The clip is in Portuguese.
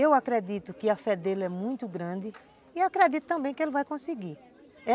Eu acredito que a fé dele é muito grande e acredito também que ele vai conseguir.